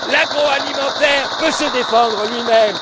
L'agroalimentaire peut se défendre lui même.